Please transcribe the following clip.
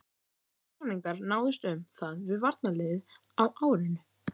Fyrstu samningar náðust um það við varnarliðið á árinu